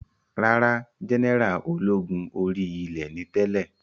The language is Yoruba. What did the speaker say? Rárá, jẹ́nẹ́rà ológun orí ilẹ̀ ni tẹ́lẹ̀